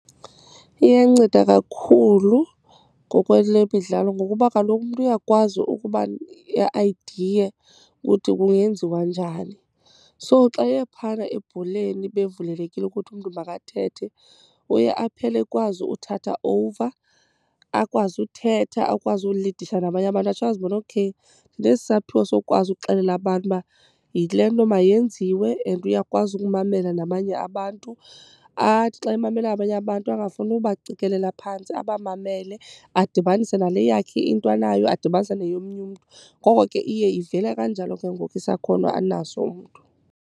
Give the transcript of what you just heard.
Iyanceda kakhulu ngokwelemidlalo ngokuba kaloku umntu uyakwazi ukuba i-idea ukuthi kungenziwa njani. So xa eye phana ebholeni bevulelekile ukuthi umntu makathethe uye aphele ekwazi uthatha over, akwazi uthetha, akwazi ulidisha nabanye abantu. Atsho azibone okay ndinesi saphiwo sokukwazi ukuxelela abantu uba yile nto mayenziwe and uyakwazi ukumamela nabanye abantu. Athi xa emamela abanye abantu angafuni ubacikelela phantsi, abamamele adibanise nale yakhe into anayo, adibanise neyomnye umntu. Ngoko ke iye ivele kanjalo ke ngoku isakhono anaso umntu.